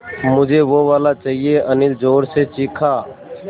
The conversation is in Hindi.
मझे वो वाला चाहिए अनिल ज़ोर से चीख़ा